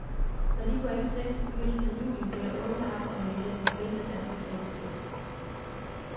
Når de point slettes i begyndelsen af juli, bliver der åben kamp om etiketten bedste danske tennisspiller.